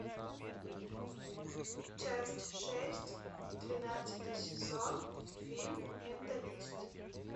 часть шесть двенадцатый сезон фильм менталист